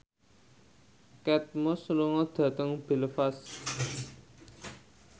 Kate Moss lunga dhateng Belfast